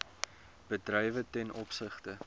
bedrywe ten opsigte